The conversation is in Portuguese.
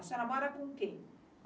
A senhora mora com quem?